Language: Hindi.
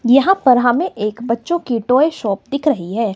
यहां पर हमे एक बच्चो की टॉय शॉप दिख रही है।